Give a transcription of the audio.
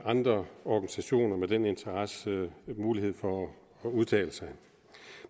andre organisationer med den interesse mulighed for at udtale sig